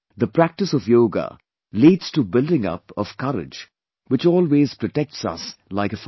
The practice of yoga leads to building up of courage, which always protects us like a father